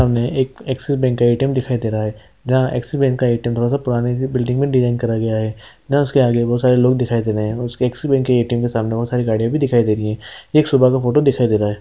--के सामने एक एक्सिस बैंक का ए_टी_एम दिखाई दे रहा है जहाँ एक्सिस बैंक का ऐ_टी_एम थोड़ी पुरानी सी बिल्डिंग में डिज़ाइन करा गया है जहाँ उसके आगे बहुत सारे लोग दिखाई दे रहे है और उसके एक्सिस बैंक ए_टी_एम के आगे बहुत सारे लोग दिखाई दे रहे है और बहुत सारी गाड़िया भी दिखाई दे रही है एक सुबह का फोटो दिखाई दे रहा हैं।